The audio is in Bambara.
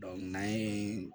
n'an ye